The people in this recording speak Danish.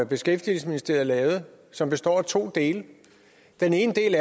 beskæftigelsesministeriet lavede og som bestod af to dele den ene del